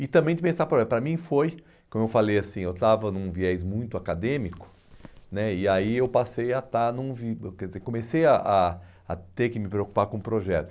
E também de pensar, por exemplo, para mim foi, como eu falei assim, eu estava em um viés muito acadêmico né, e aí eu passei a estar num vi, eh quer dizer, comecei a a a ter que me preocupar com projetos.